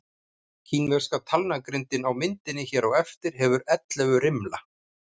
Kínverska talnagrindin á myndinni hér á eftir hefur ellefu rimla.